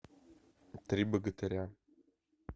три богатыря